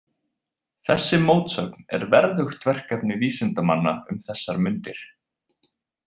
Þessi mótsögn er verðugt verkefni vísindamanna um þessar mundir.